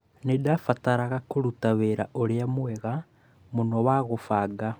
Nĩ ndabataraga kũruta wĩra ũrĩa mwega mũno wa kũbanga